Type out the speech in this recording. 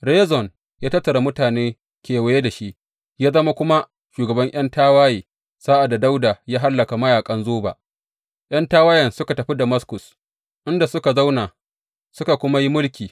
Rezon ya tattara mutane kewaye da shi, ya zama kuma shugaban ’yan tawaye sa’ad da Dawuda ya hallaka mayaƙan Zoba; ’yan tawayen suka tafi Damaskus, inda suka zauna, suka kuma yi mulki.